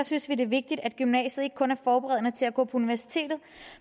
synes vi det er vigtigt at gymnasiet ikke kun er forberedende til at gå på universitetet